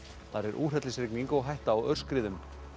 þar er úrhellisrigning og hætta á aurskriðum